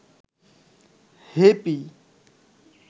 happy